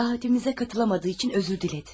Davetimizə qatıla bilmədiyi üçün üzr dilədi.